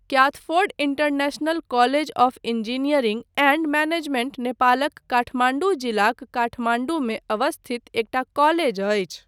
Kathford International College of Engineering and Management नेपालक काठमाण्डू जिलाक काठमाण्डूमे अवस्थित एकटा कॉलेज अछि।